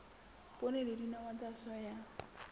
poone le dinawa tsa soya